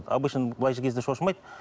обычно былай кезде шошымайды